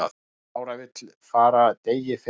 Lára vill fara degi fyrr